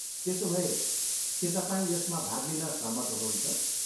त्यसोभए, के तपाईँ यसमा भाग लिन सहमत हुनुहुन्छ?